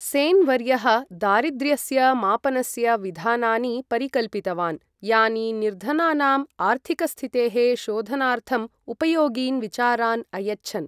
सेन् वर्यः दारिद्र्यस्य मापनस्य विधानानि परिकल्पितवान् यानि निर्धनानाम् आर्थिकस्थितेः शोधनार्थम् उपयोगीन् विचारान् अयच्छन्।